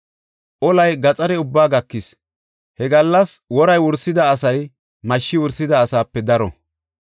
Olay gaxare ubbaa gakis; he gallas wori wursida asay mashshi wursida asaape daro.